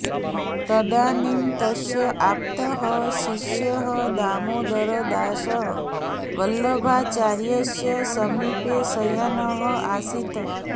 तदानीं तस्य आप्तः शिष्यः दामोदरदासः वल्लभाचार्यस्य समीपे शयानः आसीत्